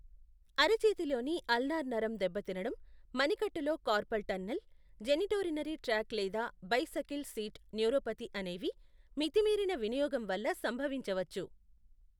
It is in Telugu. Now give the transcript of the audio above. అర చేతిలోని అల్నార్ నరం దెబ్బతినడం, మణికట్టులో కార్పల్ టన్నెల్, జెనిటోరినరీ ట్రాక్ట్ లేదా బైసకిల్ సీట్ న్యూరోపతి అనేవి మితిమీరిన వినియోగం వల్ల సంభవించవచ్చు.